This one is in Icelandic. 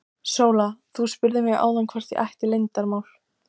Sóla, þú spurðir mig áðan hvort ég ætti leyndarmál.